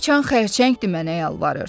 Dil açan xərçəngdir mənə yalvarır.